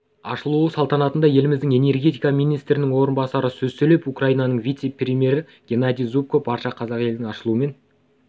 ашылу салтанатында еліміздің энергетика министрінің орынбасары сөз сөйлеп украинаның вице-премьері геннадий зубко барша қазақ елін ашылуымен